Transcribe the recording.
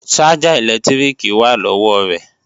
Ṣájà ẹ̀lẹ́tíríkì wà lọ́wọ́ rẹ̀